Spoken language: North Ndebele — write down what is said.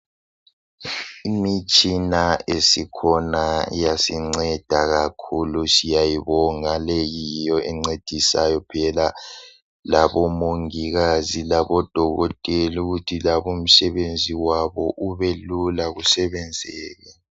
Imitshina esikhona iyasinceda kakhulu siyayibonga leyi yiyo encedisayo phela labomongikazi labodokotela ukuthi Labo umsebenzi wabo ubelula kusebenzeke